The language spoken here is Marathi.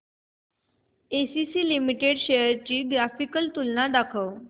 एसीसी लिमिटेड शेअर्स ची ग्राफिकल तुलना दाखव